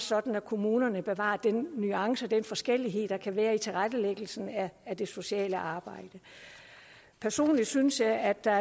sådan at kommunerne bevarer de nuancer og den forskellighed der kan være i tilrettelæggelsen af det sociale arbejde personligt synes jeg at der